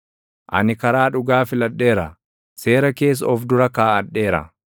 Ani karaa dhugaa filadheera; seera kees of dura kaaʼadheera.